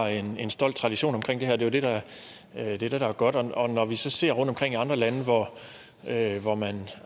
en stolt tradition omkring det her det er det der er godt når vi så ser rundtomkring i andre lande hvor man